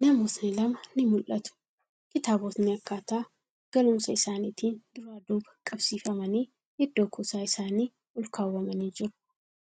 Namootni lama ni mul'atu. Kitaabotni akkaataa galuumsa isaanitiin duraa duuba qabsiifamanii iddoo kuusaa isaanii olkaawwamanii jiru.